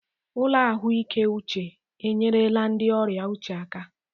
Ụlọ ahụike uche enyerela ndị ọrịa uche aka.